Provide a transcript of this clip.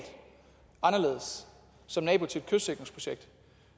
anderledes som nabo til kystsikringsprojekt